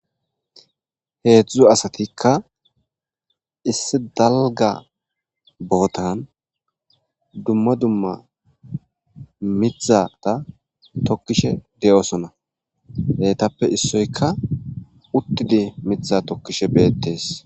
heedzdzuzo asatikka issi dalga bootan dumma dumma mithata tokkishe de7osona heytappe issoyka uttidi mitha tokkishe beettes